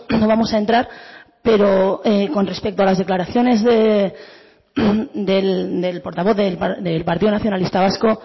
no vamos a entrar pero con respecto a las declaraciones del portavoz del partido nacionalista vasco